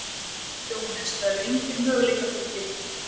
Jóhannes: Það eru engir möguleikar fyrir þig hér?